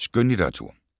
Skønlitteratur